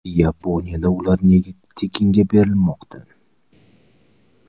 Yaponiyada uylar nega tekinga berilmoqda?